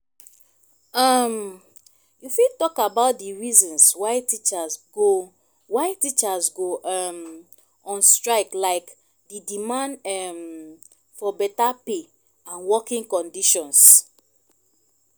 um you fit talk about di reasons why teachers go why teachers go um on strike like di demand um for beta pay and working conditions.